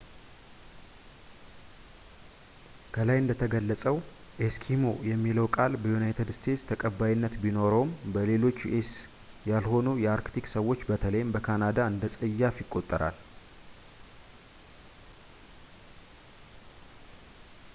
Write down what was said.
.ከላይ እንደተገለፀው ኤስኪሞ የሚለው ቃል በዩናይትድ ስቴትስ ተቀባይነት ቢኖረውም በሌሎች ዩስ ያልሆኑ የአርክቲክ ሰዎች በተለይም በካናዳ እንደፀያፍ ይቆጠራል